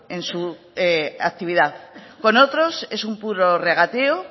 en su actividad con otros es un puro regateo